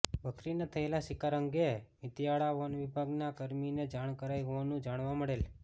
બકરીના થયેલા શિકાર અંગે મિતીયાળા વન વિભાગના કર્મીને જાણ કરાઈ હોવાનું જાણવા મળેલ